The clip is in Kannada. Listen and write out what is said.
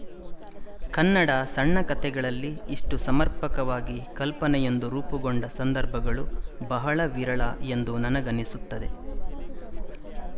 ಕನ್ನಡ ಸಣ್ಣಕಥೆಗಳಲ್ಲಿ ಇಷ್ಟು ಸಮರ್ಪಕವಾಗಿ ಕಲ್ಪನೆಯೊಂದು ರೂಪುಗೊಂಡ ಸಂದರ್ಭಗಳು ಬಹಳ ವಿರಳ ಎಂದು ನನಗನ್ನಿಸುತ್ತದೆ